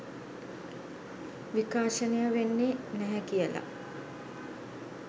විකාශනය වෙන්නේ නැහැ කියලා